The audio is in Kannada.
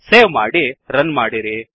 ಸೇವ್ ಮಾಡಿ ರನ್ ಮಾಡಿರಿ